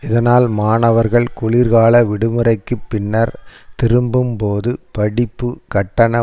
இதனால் மாணவர்கள் குளிர்கால விடுமுறைக்குப் பின்னர் திரும்பும்போது படிப்புக்கட்டண